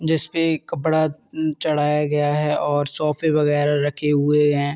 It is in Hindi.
जिसपे एक कपड़ा चढाया गया है और सोफे वगेरा रखे हुए हैं।